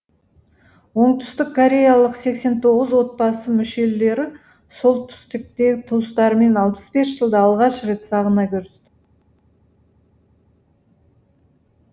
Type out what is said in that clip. оңтүстіккореялық сексен тоғыз отбасы мүшелері солтүстіктегі туыстарымен алпыс бес жылда алғаш рет сағына көрісті